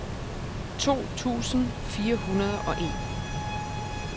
to tusind fire hundrede og en